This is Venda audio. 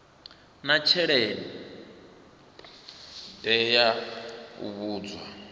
na thendelo ya vhudzulo ha